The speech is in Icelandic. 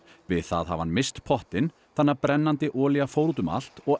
við það hafi hann misst pottinn þannig að brennandi olía fór út um allt og